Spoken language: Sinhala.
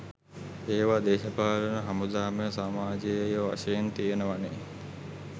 ඒවා දේශපාලන හමුදාමය සමජයීය වශයෙන් තියෙනවනෙ.